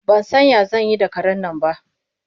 Ba san ya zan yi da karen nan ba.